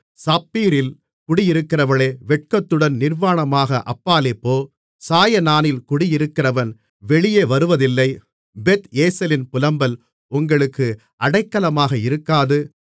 சாப்பீரில் குடியிருக்கிறவளே வெட்கத்துடன் நிர்வாணமாக அப்பாலே போ சாயனானில் குடியிருக்கிறவன் வெளியே வருவதில்லை பெத் ஏசேலின் புலம்பல் உங்களுக்கு அடைக்கலமாக இருக்காது